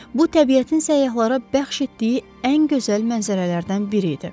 Bu təbiətin səyyahlara bəxş etdiyi ən gözəl mənzərələrdən biri idi.